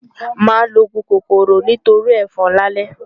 Màá lo òògùn kòkòrò nítorí ẹ̀fọn lálẹ́.